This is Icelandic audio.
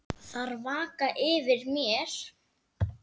Þær vaka yfir mér.